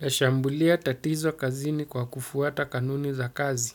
Eshambulia tatizo kazini kwa kufuata kanuni za kazi.